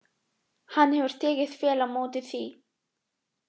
Hann hefur tekið vel á móti því.